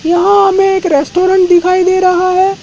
यहां हमें एक रेस्टोरेंट दिखाई दे रहा है।